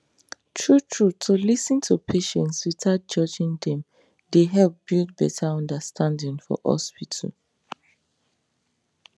true true to lis ten to patients without judging dem dey help build better understanding for hospital